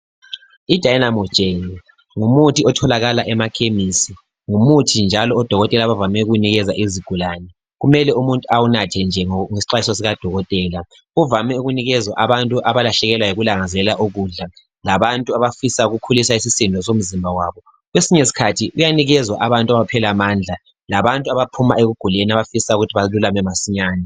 I dynamometer ngumuthi otholakala emakhemesi, ngumuthi njalo odokotela abavame ukuwunikeza izigulane. Kumele umuntu awunathe nje ngesikhathi sikadokotela. Uvame ukunikezwa abantu abalahlekelwa yikulangazelela ukudla, labantu abafisa ukukhulisa isisindo somzimba wabo. Kwsinye isikhathi uyanikezwa abantu abaphela amandla, labantu abaphuma ekuguleni abafisa ukuthi balulame masinyane.